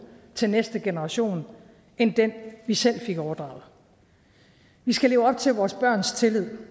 til næste generation end den vi selv fik overdraget vi skal leve op til vores børns tillid